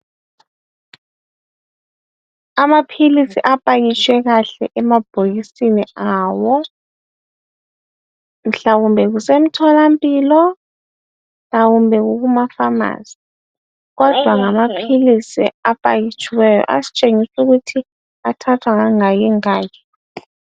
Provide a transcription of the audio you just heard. amaphilisi apakitshwe kahle emabhokisini awo mhlawumbe kusemtholampilo mhlawumbe kukuma phamarcy kodwa ngamaphilisi apakitshiweyo asitshengisa ukuthi athathwa ngangaki ngaki